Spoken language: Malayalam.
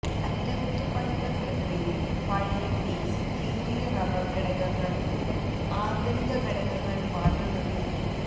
അറ്റകുറ്റപ്പണികൾ പ്രക്രിയയിൽ പഴയ ഗ്രീസ് കീറിയ റബ്ബർ ഘടകങ്ങൾ ആന്തരിക ഘടകങ്ങൾ മാറ്റുന്നതിൽ